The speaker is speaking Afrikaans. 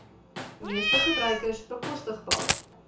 meeste gebruikers bekostigbaar